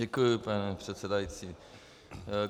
Děkuji, pane předsedající.